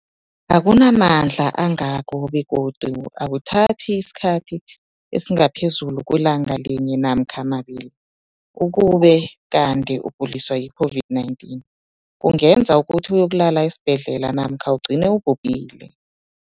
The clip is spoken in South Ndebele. akuna mandla angako begodu akuthathi isikhathi esingaphezulu kwelanga linye namkha mabili, ukube kanti ukuguliswa yi-COVID-19 kungenza ukuthi uyokulala esibhedlela namkha ugcine ubhubhile.